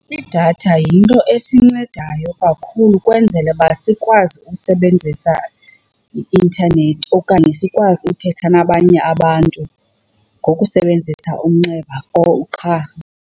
Idatha yinto esincedayo kakhulu ukwenzela uba sikwazi ukusebenzisa i-intanethi okanye sikwazi uthetha nabanye abantu ngokusebenzisa umnxeba or qha.